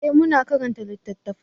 eh mu na karanta littattafai